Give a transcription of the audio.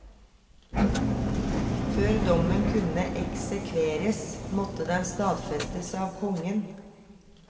Før dommen kunne eksekveres, måtte den stadfestes av kongen.